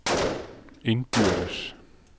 indbyrdes